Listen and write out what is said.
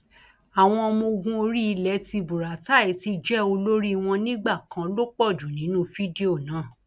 àwọn ọmọọgùn orí ilẹ tí buratai ti jẹ olórí wọn nígbà kan ló pọ jù nínú fídíò náà